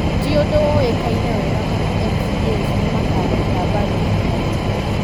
Ti ũndũ ũũĩkaine wega kana MCAs nĩ makanyita mbaru rita rĩrĩ.